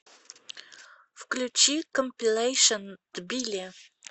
включи компилэйшн тбили